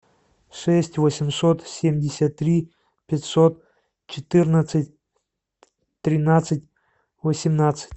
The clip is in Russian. шесть восемьсот семьдесят три пятьсот четырнадцать тринадцать восемнадцать